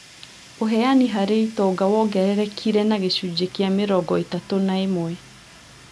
Ũheani harĩ itonga wongererekire na gĩcunjĩ kĩa mĩrongo ĩtatũ na ĩmwe